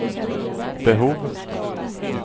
behov